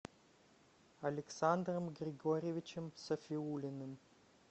александром григорьевичем сафиуллиным